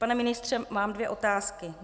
Pane ministře, mám dvě otázky.